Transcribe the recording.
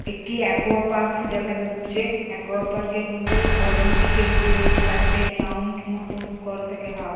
একটি একোয়াপার্ক দেখা যাচ্ছে। একোয়াপার্ক -এর মধ্যে অলিম্পিকের যে চারটে রাউন্ড মতো করা থাকে হাফ ।